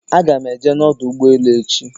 Aga m eje n'ọdọ ụgbọelu echi.